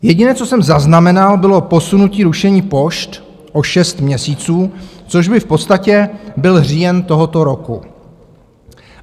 Jediné, co jsem zaznamenal, bylo posunutí rušení pošt o šest měsíců, což by v podstatě byl říjen tohoto roku.